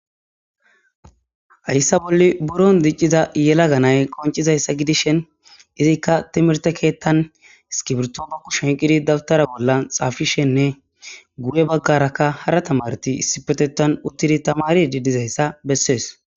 Hayssa bolli buron dicciza yela ganay qoncizayssa gidishen izikka timirte keettan iskibirtomo kushen qidi dabtara bollan xaafishenne gu'e baggarakka hara tamarti issipetetan uttidi tamari di dizayssa bessees.